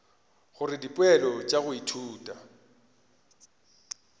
gore dipoelo tša go ithuta